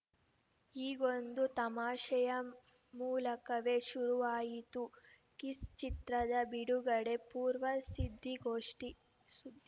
ಹೀಗೊಂದು ತಮಾಷೆಯ ಮೂಲಕವೇ ಶುರುವಾಯಿತು ಕಿಸ್‌ ಚಿತ್ರದ ಬಿಡುಗಡೆ ಪೂರ್ವ ಸಿದ್ದಿಗೋಷ್ಠಿ ಸುದ್